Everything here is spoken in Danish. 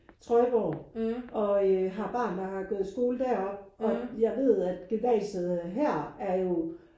Trøjborg og har barn der og har gået i skole deroppe og jeg ved at gymnasiet her er jo